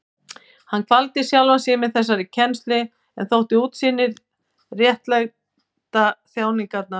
Hann kvaldi sjálfan sig með þessari kennslu en þótti útsýnið réttlæta þjáningarnar.